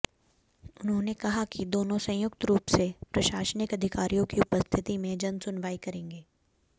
उन्होंने कहा कि दोनों संयुक्त रूप से प्रशासनिक अधिकारियों की उपस्थिति में जनसुनवाई करेंगे